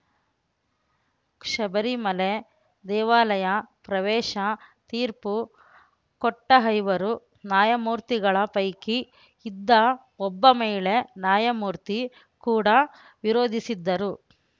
ಶಬರಿಮಲೆ ದೇವಾಲಯ ಪ್ರವೇಶ ತೀರ್ಪು ಕೊಟ್ಟಐವರು ನ್ಯಾಯಮೂರ್ತಿಗಳ ಪೈಕಿ ಇದ್ದ ಒಬ್ಬ ಮಹಿಳೆ ನ್ಯಾಯಮೂರ್ತಿ ಕೂಡ ವಿರೋಧಿಸಿದ್ದರು